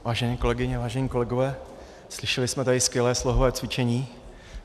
Vážené kolegyně, vážení kolegové, slyšeli jsme tady skvělé slohové cvičení.